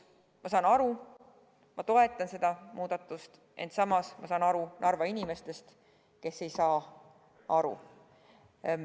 Ma saan kõigest aru ja toetan seda muudatust, ent samas saan aru Narva inimestest, kes ei saa aru.